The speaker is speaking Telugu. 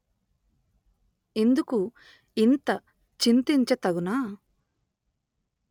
ఇందుకు ఇంత చింతించ తగునా